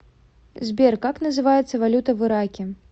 сбер как называется валюта в ираке